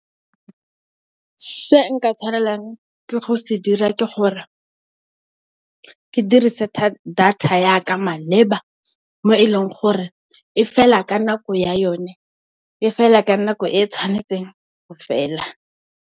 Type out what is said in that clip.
Se nka tshwanelang ke go se dira ke gore ke dirise data yaka maleba mo e leng gore e fela ka nako ya yone, e fela ka nako e e tshwanetseng go fela.